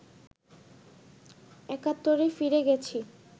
একাত্তরে ফিরে গেছি